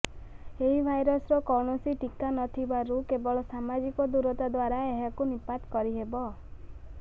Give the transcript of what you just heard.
ଏହି ଭାଇରରସର କୌଣସି ଟୀକା ନଥିବାରୁ କେବଳ ସାମାଜିକ ଦୂରତା ଦ୍ୱାରା ଏହାକୁ ନିପାତ କରିହେବ